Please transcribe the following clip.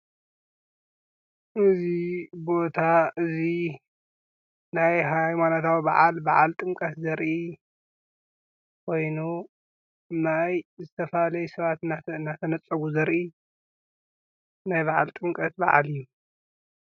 እዚ ቦታ እዚ ናይ ሃይማኖታዊ በዓል በዓል ጥምቀት ዝርኢ ኮይኑ ናይ ዝተፋላሉዩ ሰባት እንዳተነፀጉ ዘርኢ ናይ በዓል ጥምቀት በዓል እዩ።